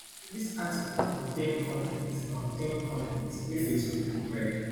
dis article contain con ten t contain con ten t wey facebook provide